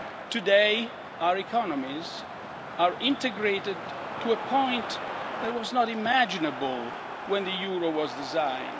Today, our economies are integrated to a point that was not imaginable when the euro was designed.